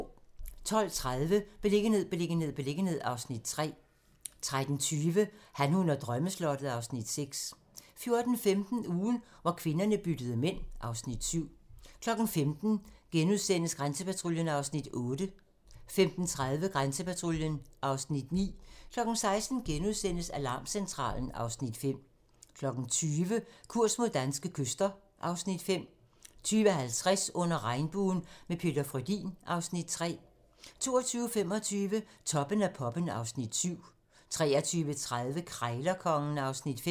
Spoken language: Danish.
12:30: Beliggenhed, beliggenhed, beliggenhed (Afs. 3) 13:20: Han, hun og drømmeslottet (Afs. 6) 14:15: Ugen, hvor kvinderne byttede mænd (Afs. 7) 15:00: Grænsepatruljen (Afs. 8)* 15:30: Grænsepatruljen (Afs. 9) 16:00: Alarmcentralen (Afs. 5)* 20:00: Kurs mod danske kyster (Afs. 5) 20:50: Under Regnbuen – med Peter Frödin (Afs. 3) 22:25: Toppen af poppen (Afs. 7) 23:30: Krejlerkongen (Afs. 5)